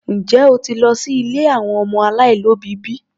Njẹ́ o ti lọ sí ilé àwọn ọmọ aláìlóbìí bi?